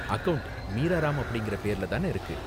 Account Meera Ram அப்படிங்கற பேர்ல தான இருக்கு?